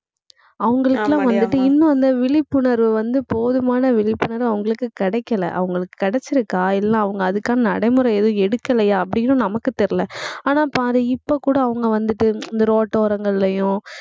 அவங்களுக்கெல்லாம் வந்துட்டு இன்னும் அந்த விழிப்புணர்வு வந்து, போதுமான விழிப்புணர்வு அவங்களுக்கு கிடைக்கலை. அவங்களுக்கு கிடைச்சிருக்கா இல்ல அவங்க அதுக்கான நடைமுறை எதுவும் எடுக்கலையா அப்படின்னும் நமக்கு தெரியலே. ஆனா பாரு இப்ப கூட அவங்க வந்துட்டு, இந்த ரோட்டோரங்கள்லயும்